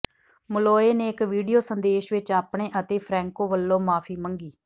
Molloy ਨੇ ਇਕ video ਸੰਦੇਸ਼ ਵਿਚ ਆਪਣੇ ਅਤੇ ਫ੍ਰੈਂਕੋ ਵੱਲੋਂ ਮੁਆਫੀ ਮੰਗੀ